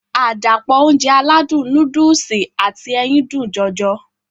Àdàpọ̀ Ounjẹ aládùn nóódùsì àti ẹyin dùn jọjọ